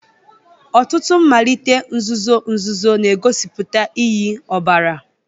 Ọtụtụ mmalite nzuzo nzuzo na-egosipụta iyi ọbara